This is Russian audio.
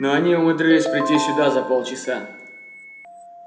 но они умудрились прийти сюда за полчаса